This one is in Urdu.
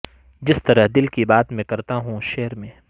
جس طرح دل کی بات میں کرتا ہوں شعر میں